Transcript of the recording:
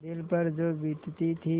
दिल पर जो बीतती थी